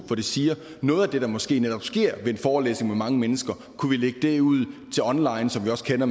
hvor de siger at noget af det der måske netop sker ved en forelæsning med mange mennesker kunne vi lægge ud online som vi også kender